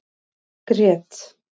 Grét